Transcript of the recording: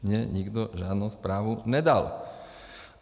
Mně nikdo žádnou zprávu nedal.